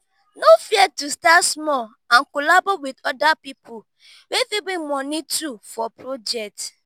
no fear to start small and collabo with other pipo wey fit bring moni too for project